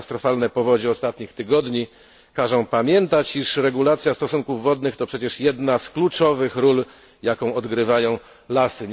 Katastrofalne powodzie ostatnich tygodni każą pamiętać, iż regulacja stosunków wodnych to przecież jedna z kluczowych ról, jaką odgrywają lasy.